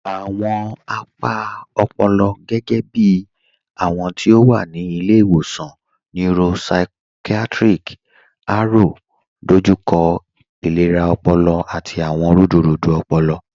Awọn apa ọ̀pọ̀lọ̀, gẹgẹ̀bí awọn ti o wa ni Ilẹ̀-iwọsan Neuropsychiatric, Aro, dọjúkọ ilẹ̀rà ọ̀pọ̀lọ̀ àti awọn rúdúrúdú ọ̀pọ̀lọ̀